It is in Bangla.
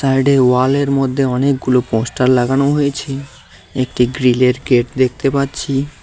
সাইডের ওয়ালের মধ্যে অনেকগুলো পোস্টার লাগানো হয়েছে একটি গ্রীলের গেট দেখতে পাচ্ছি।